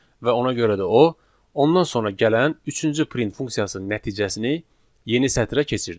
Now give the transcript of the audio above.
Və ona görə də o, ondan sonra gələn üçüncü print funksiyasının nəticəsini yeni sətrə keçirir.